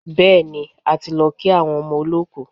Bẹ́ẹ̀ni, a ti lọ kí àwọn ọmọ olọ́kù.